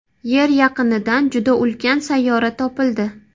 Yer yaqinidan juda ulkan sayyora topildi.